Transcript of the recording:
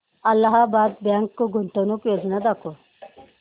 Allahabad bank गुंतवणूक योजना दाखव